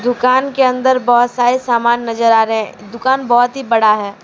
दुकान के अंदर बहुत सारे सामान नजर आ रहे हैं दुकान बहुत ही बड़ा है।